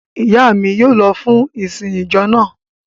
Ìyá mi yóò lọ fún ìsìn ìjọ náà.